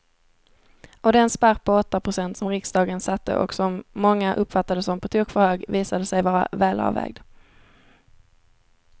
Och den spärr på åtta procent som riksdagen satte och som många uppfattade som på tok för hög visade sig vara välavvägd.